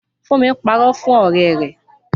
Fúnmi parọ́ fún ọ̀rẹ́ rẹ̀